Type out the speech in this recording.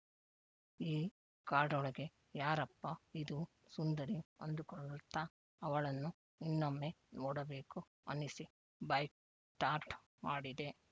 ಈ ಕಾಡೊಳಗೆ ಯಾರಪ್ಪ ಇದು ಸುಂದರಿ ಅಂದುಕೊಳ್ಳುತ್ತಾ ಅವಳನ್ನು ಇನ್ನೊಮ್ಮೆ ನೋಡಬೇಕು ಅನಿಸಿ ಬೈಕ್‌ ಸ್ಟಾರ್ಟ್‌ ಮಾಡಿದೆ